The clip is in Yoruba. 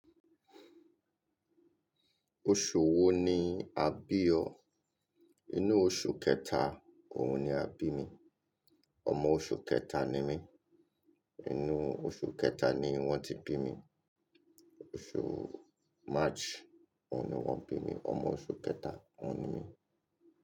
Oṣù wo ni a bí ọ? Inú oṣù kẹta òun ni a bí mi. Ọmọ oṣù kẹta ni mí. Inú oṣù kẹta ni wọ́n ti bí mi. Oṣù March òun ni wọ́n bí mi. Ọmọ oṣù kẹta òun ni mí.